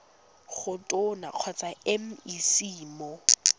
go tona kgotsa mec mo